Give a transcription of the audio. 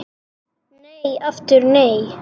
En aftur nei!